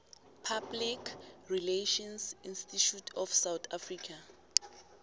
public relations institute of south africa